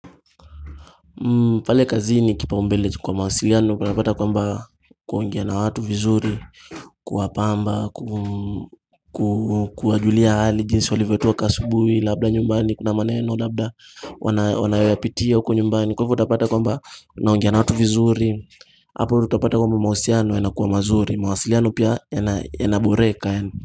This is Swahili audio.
Pale kazi ni kipaumbele kwa mawasiliano unapata kwamba kuongea na watu vizuri Kuwapamba kuwajulia hali jinsi walivotoka asubui labda nyumbani kuna maneno labda wanayoyapitia huko nyumbani Kwa hivyo utapata kwamba unaongea na watu vizuri hapo utapata kwamba mahusiliano yanakua mazuri mawasiliano pia yanaboreka.